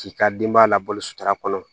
K'i ka denbaya labalo sutara kɔnɔ